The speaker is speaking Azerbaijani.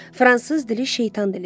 Fransız dili şeytan dilidir.